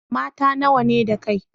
Mata nawa ne da kai?